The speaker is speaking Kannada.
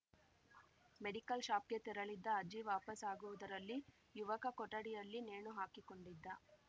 ಮೆಡಿಕಲ್‌ ಶಾಪ್‌ಗೆ ತೆರಳಿದ್ದ ಅಜ್ಜಿ ವಾಪಸ್‌ ಆಗುವುದರಲ್ಲಿ ಯುಕವ ಕೊಠಡಿಯಲ್ಲಿ ನೇಣು ಹಾಕಿಕೊಂಡಿದ್ದ